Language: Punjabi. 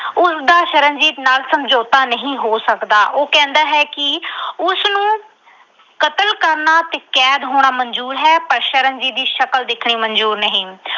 ਉਸਦਾ ਸ਼ਰਨਜੀਤ ਨਾਲ ਸਮਝੌਤਾ ਨਹੀਂ ਹੋ ਸਕਦਾ। ਉਹ ਕਹਿੰਦਾ ਹੈ ਕਿ ਉਸਨੂੰ ਕਤਲ ਕਰਨਾ ਤੇ ਕੈਦ ਹੋਣਾ ਮਨਜ਼ੂਰ ਹੈ ਪਰ ਸ਼ਰਨਜੀਤ ਦੀ ਸ਼ਕਲ ਦੇਖਣੀ ਮਨਜ਼ੂਰ ਨਹੀਂ।